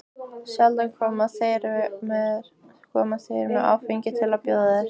Sjaldan koma þeir með áfengi til að bjóða þér.